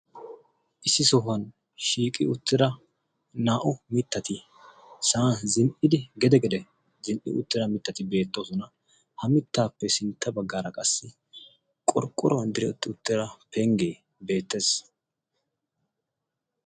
Issi sohuwan shiiqi uttida naa"u mittati sa"an zinn"i gede gede zinn"i uttida mittati beettoosona. Mittaappe sintta baggaara qassi qorqqoruwan diretti uttida penggee beettes.